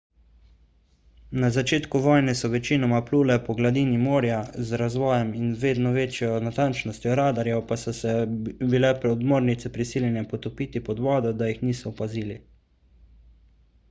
na začetku vojne so večinoma plule po gladini morja z razvojem in vedno večjo natančnostjo radarjev pa so se bile podmornice prisiljene potopiti pod vodo da jih niso opazili